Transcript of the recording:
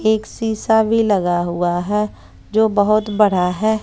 एक शीशा भी लगा हुआ है। जो बहोत बड़ा है।